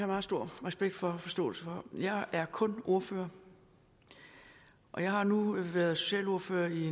meget stor respekt for og forståelse for jeg er kun ordfører og jeg har nu været socialordfører i